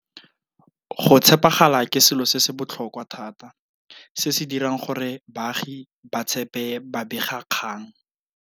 Go tshepagala ke selo se se botlhokwa thata se se dirang gore baagi ba tshepe babegakgang.